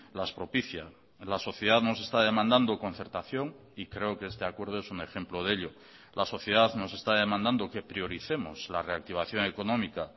las propicia la sociedad nos está demandando concertación y creo que este acuerdo es un ejemplo de ello la sociedad nos está demandando que prioricemos la reactivación económica